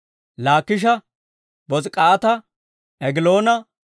Laakisha, Bos'ik'aata, Egiloona,